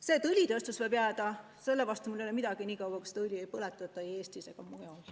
Selle vastu, et õlitööstus jääb, mul ei ole midagi nii kaua, kuni seda õli ei põletata ei Eestis ega mujal.